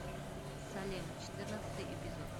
салем четырнадцатый эпизод